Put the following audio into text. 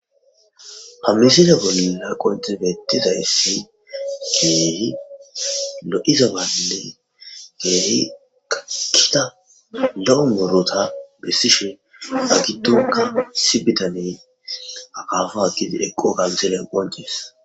Amisida gonina qontegetidayssi kiehi lo'izabanne geehi kakita la'o morota bessishon a gitoka sibitaney akaafa akidi eqqo kansele qoncis.